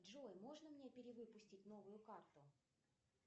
джой можно мне перевыпустить новую карту